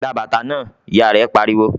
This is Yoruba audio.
"Gba bàtà náà!", Ìyá rẹ̀ pariwo